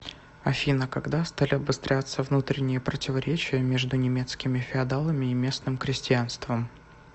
афина когда стали обостряться внутренние противоречия между немецкими феодалами и местным крестьянством